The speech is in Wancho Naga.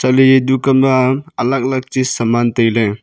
lahle eya dukan ma alag alag chis saman tailey.